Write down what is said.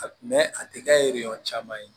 A a tɛ kɛ yiri yɔrɔ caman ye